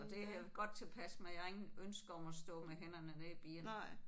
Og det er jeg godt tilpas med jeg har ingen ønske om at stå med hænderne nede i bierne